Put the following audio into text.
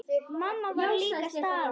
Mamma var líka staðin upp.